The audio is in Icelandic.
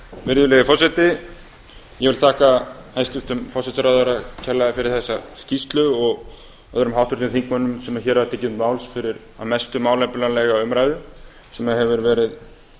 virðulegi forseti ég vil þakka hæstvirtum forsætisráðherra kærlega fyrir þessa skýrslu og öðrum háttvirtum þingmönnum sem hér hafa tekið til máls fyrir að mestu málefnalega umræðu sem hefur verið